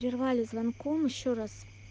прервали звонком ещё раз